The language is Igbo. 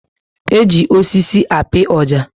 Eji osisi api oja